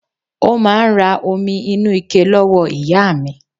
Ó máa n ra omi inú ike lọ́wọ́ ìyá mi